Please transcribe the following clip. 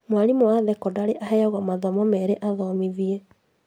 Mwarimu wa thekondarĩ aheagwo mathomo merĩ athomithie